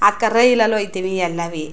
ಆ ಕರೈಲಲಿ ಹೋಯ್ ತಿವಿ ಎಲ್ಲಾವಿ.